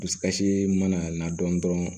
Dusukasi mana na dɔn dɔrɔn